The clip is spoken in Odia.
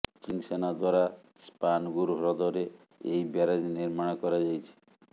ଚୀନ ସେନା ଦ୍ବାରା ସ୍ପାନଗୁର ହ୍ରଦରେ ଏହି ବ୍ୟାରେଜ ନିର୍ମାଣ କରାଯାଇଛି